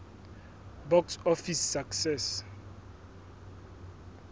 box office success